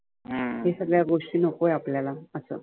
ह्या सगळ्या गोष्टी नकोय आपल्याला असं.